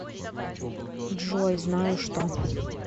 джой знаю что